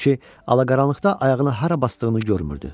Çünki alaqaranlıqda ayağını hara basdığını görmürdü.